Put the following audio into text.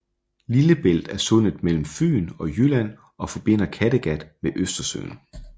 Lillebælt er sundet mellem Fyn og Jylland og forbinder Kattegat med Østersøen